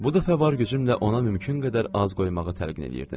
Bu dəfə var gücümlə ona mümkün qədər az qoymağa təlqin eləyirdim.